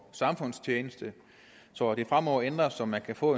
samfundstjeneste så det fremover ændres så man kan få